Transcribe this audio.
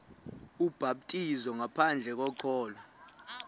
ubhaptizo ngaphandle kokholo